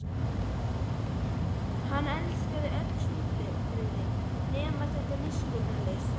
Hann elskaði öll svipbrigðin nema þetta miskunnarlausa.